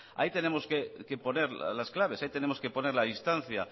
ahí tenemos que poner las claves ahí tenemos que poner la distancia